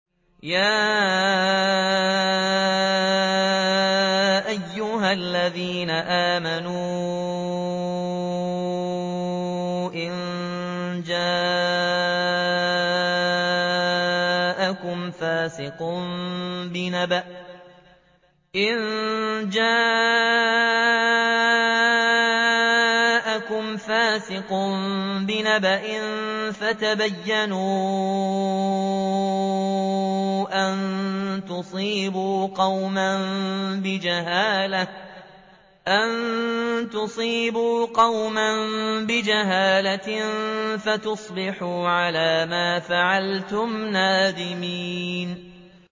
يَا أَيُّهَا الَّذِينَ آمَنُوا إِن جَاءَكُمْ فَاسِقٌ بِنَبَإٍ فَتَبَيَّنُوا أَن تُصِيبُوا قَوْمًا بِجَهَالَةٍ فَتُصْبِحُوا عَلَىٰ مَا فَعَلْتُمْ نَادِمِينَ